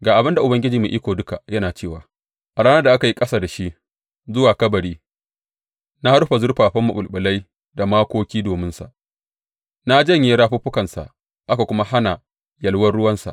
Ga abin da Ubangiji Mai Iko Duka yana cewa a ranar da aka yi ƙasa da shi zuwa kabari na rufe zurfafa maɓulɓulai da makoki dominsa; na janye rafuffukansa, aka kuma hana yalwan ruwansa.